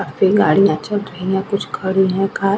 पे गाड़ियां चल रही हैं। कुछ खड़ी है कार ।